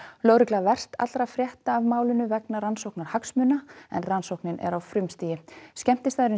lögregla verst allra frétta af málinu vegna rannsóknarhagsmuna en rannsókn er á frumstigi skemmtistaðurinn